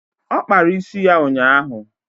Ọ kpara isi ya ụnyaahụ.